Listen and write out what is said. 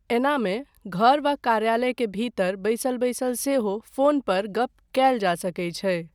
एनामे, घर वा कार्यालय के भीतर बैसल बैसल सेहो फ़ोन पर गप कयल जा सकैत छै।